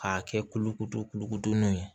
K'a kɛ kulukoro kulukorodun ye